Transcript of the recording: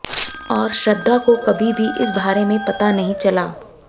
और श्रद्धा को कभी भी इस बारे में पता नहीं चला